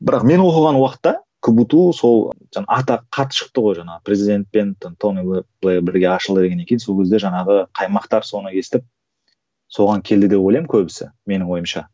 бірақ мен оқыған уақытта кбту сол жаңа атағы қатты шықты ғой жаңағы президентпен там тони блэр бірге ашылды дегеннен кейін сол кезде жаңағы қаймақтар соны естіп соған келді деп ойлаймын көбісі менің ойымша